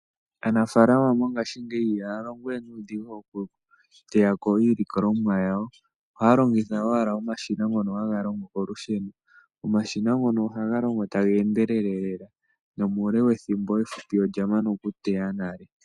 Aanafaalama mongashingeyi ihaya longowe nuudhigu okuteyako iilikolomwa yawo . Ohaya longitha omashina ngono haga longo owala kolusheno. Omashina ngono ohaga longo taga endelele lela nomuule wethimbo olya mana okuteya nale.